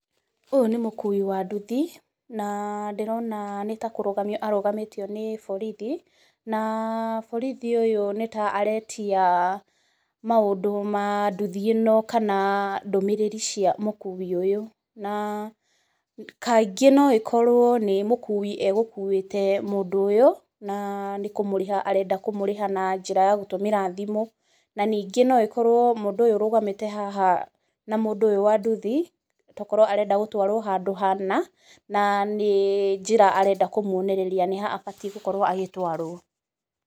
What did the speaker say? Ũyũ nĩ mũkui wa nduthi, na ndĩrona nĩ ta kũrũgamio arũgamĩtio nĩ borithi, na borithi ũyũ nĩ ta aretia maũndũ ma nduthi ĩno, kana ndũmĩrĩri cia mũkui ũyũ, na kaingĩ nĩ ĩkorwo nĩ mũkui egũkuĩte mũndũ ũyũ, na nĩ kũmũrĩha arenda kũmũrĩha na njĩra ya gũtũmĩra thimũ. Na ningĩ no ĩkorwo mũndũ ũyũ ũrũgamĩte haha na mũndũ ũyũ wa nduthi, tokorwo arenda gũtwarwo handũ hana, na nĩ njĩra arenda kũmwonereria nĩ ha abatiĩ gũkorwo agĩtwarwo.